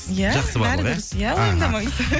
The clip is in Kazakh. иә бәрі дұрыс иә уайымдамаңыз